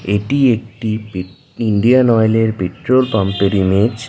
এটি একটি Indian oil এর পেট্রোল পাম্প এর ইমেজ --